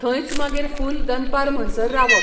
थंयच मागीर फूल दनपार म्हणसर रावप.